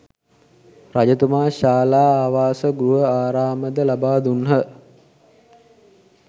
රජතුමා ශාලා, ආවාස, ගෘහ ආරාම, ද ලබා දුන්හ.